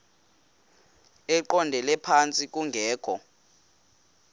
eqondele phantsi kungekho